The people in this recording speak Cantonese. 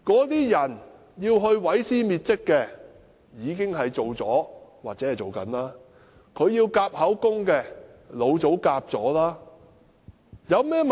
那些要毀屍滅跡的人，已經做完了或正在做。要夾口供的，老早已夾好了。